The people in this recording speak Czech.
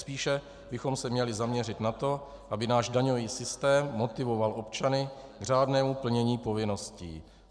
Spíše bychom se měli zaměřit na to, aby náš daňový systém motivoval občany k řádnému plnění povinností.